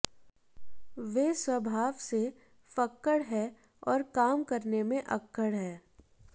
वे स्वभाव से फक्कड़ है और काम करने में अक्कड़ हैं